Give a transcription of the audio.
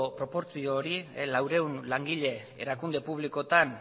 proportzio hori laurehun langile erakunde publikoetan